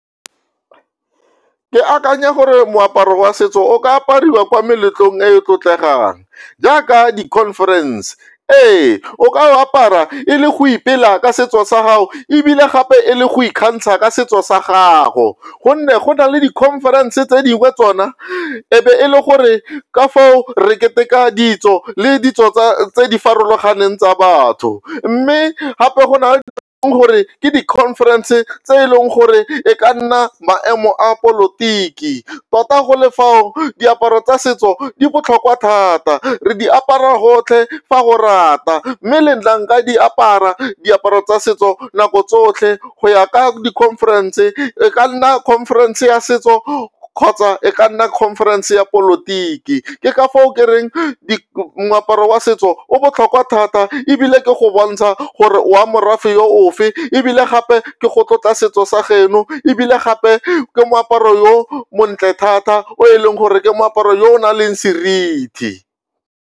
Ke akanya gore moaparo wa setso o ka apariwa kwa meletlong e e tlotlegang jaaka di-conference. Ee, o ka o apara e le go ipela ka setso sa gago ebile gape e le go ikgantsha ka setso sa gago gonne go na le di-conference tse dingwe tsona e be e le gore ka foo re keteka ditso le ditso tse di farologaneng tsa batho mme gape go na le gore ke di-conference tse e leng gore e ka nna maemo a polotiki tota go le fao diaparo tsa setso di botlhokwa thata, re di apara gotlhe fa o rata mme le nna nka di apara diaparo tsa setso nako tsotlhe go ya ka di-conference e ka nna conference ya setso kgotsa e ka nna conference ya polotiki ke ka foo ke reng moaparo wa setso o botlhokwa thata ebile ke go bontsha gore o wa morafe yo ofe ebile gape ke go tlotla setso sa geno ebile gape ke moaparo yo montle thata o e leng gore ke moaparo yo o nang le seriti.